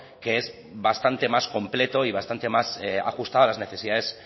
que es bastante más completo y bastante más ajustado a las necesidades